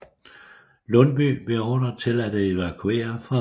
Lundbye beordret til at evakuere Fredericia